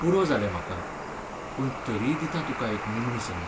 पुरो जालें म्हाका, पूण तरीय दितां तुका एक निमणी संद.